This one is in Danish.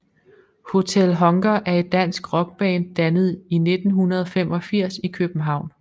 Hotel Hunger er et dansk rockband dannet i 1985 i København